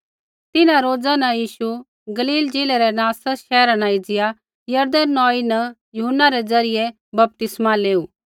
तिन्हां रोजा न यीशु गलील ज़िलै रै नासरता शैहरा न एज़िया यरदन नौई न यूहन्ना रै ज़रियै बपतिस्मा लेऊ